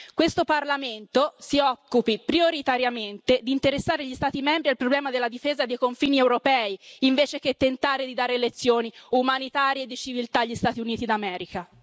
Questo Parlamento si occupi prioritariamente di interessare gli Stati membri al problema della difesa dei confini europei, invece che tentare di dare lezioni umanitarie e di civiltà agli Stati Uniti d'America.